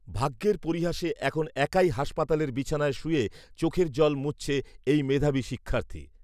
ভাগ্যের পরিহাসে, এখন একাই হাসপাতালের বিছানায় শুয়ে চোখের জল মুছছে এই মেধাবী শিক্ষার্থী।